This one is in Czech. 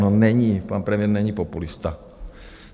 No není, pan premiér není populista.